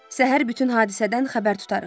Səhər bütün hadisədən xəbər tutarıq.